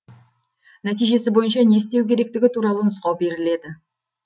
нәтижесі бойынша не істеу керектігі туралы нұсқау беріледі